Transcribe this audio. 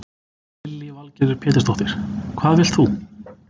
Lillý Valgerður Pétursdóttir: Hvað vilt þú?